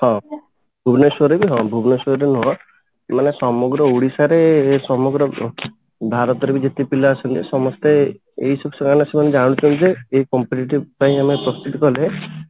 ହଁ ଭୁବନେଶ୍ଵରରେ ବି ହଁ ଭୁବନେଶ୍ଵରରେ ନୁହଁ ମାନେ ସମଗ୍ର ଓଡିଶାରେ ସମଗ୍ର ଭାରତରେ ବି ଯେତେ ପିଲା ଅଛନ୍ତି ସମସ୍ତେ ଏଇଥିରୁ ସେମାନେ ସେମାନେ ଜାଣୁଛନ୍ତି ଯେ ଏଇ competitive ପାଇଁ ଆମେ ପ୍ରସ୍ତୁତି କଲେ